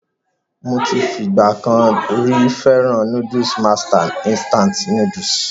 Mo ti fi ìgbà kan rí fẹ́ràn núdùsù Master Instant Noodles.